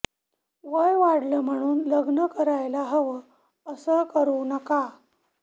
वय वाढलं म्हणून लग्न करायला हवं असं करू नका